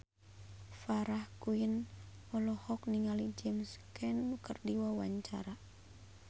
Farah Quinn olohok ningali James Caan keur diwawancara